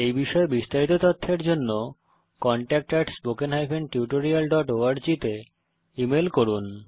এই বিষয়ে বিস্তারিত তথ্যের জন্য contact at spoken hyphen tutorial dot org তে ইমেল করুন